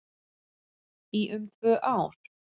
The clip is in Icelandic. Í um tvö ár